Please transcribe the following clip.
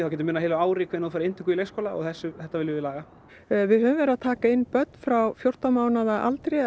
getur munað heilu ári hvenær þú færð inntöku i leikskóla og þetta viljum við laga við höfum verið að taka inn börn frá fjórtán mánaða aldri